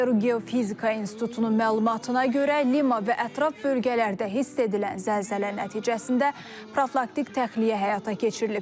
Peru Geofizika İnstitutunun məlumatına görə Lima və ətraf bölgələrdə hiss edilən zəlzələ nəticəsində profilaktik təxliyyə həyata keçirilib.